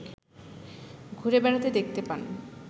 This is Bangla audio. ঘুরে বেড়াতে দেখতে পান